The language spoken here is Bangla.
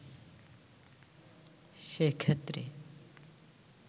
সে ক্ষেত্রে